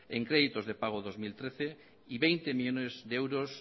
en créditos de pago dos mil trece y veinte millónes de euros